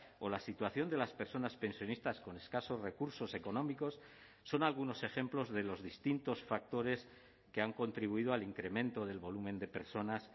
o la situación de las personas pensionistas con escasos recursos económicos son algunos ejemplos de los distintos factores que han contribuido al incremento del volumen de personas